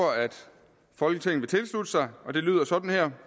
folketinget vil tilslutte sig og det lyder sådan her